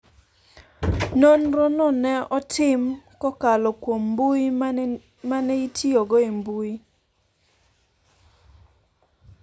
Nonro no ne otim, kokalo kuom mbui ma ne itiyogo e mbui,